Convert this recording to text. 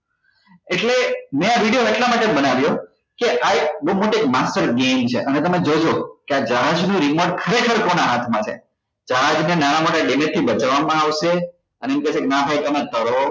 એટલે મેં આ video એટલા માટે બનાવ્યો કે આ એક બઉ મોટી master game છે અને તમે એ જોજો કે આ જહાજ નું remote ખરેખર કોના હાથ માં છે જહાજ ને નાના મોટા damage થી બચાવવા માં આવશે અને એમ કહેશે કે નાં ભાઈ તમારે તરવું